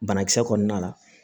Banakisɛ kɔnɔna la